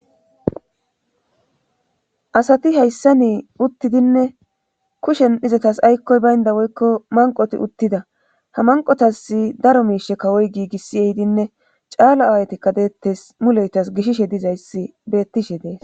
asati hayssa nii uttidinne kushen izatas aykkoy baynda woykko manqoti uttida ha manqotasi daro miishe kawoy giigissi ehidinne caala awaytikka deettes muleytas gishishe dizayssi bettishe dees